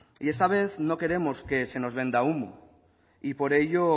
esta vez no queremos que se nos venda humo y por ello